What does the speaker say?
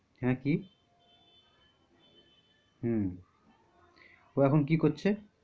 হ্যাঁ কি? হম ও এখন কি করছে?